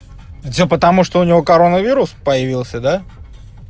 это всё потому что у него коронавирус появился да